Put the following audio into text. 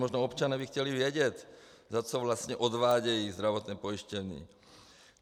Možná občané by chtěli vědět, za co vlastně odvádějí zdravotní pojištění.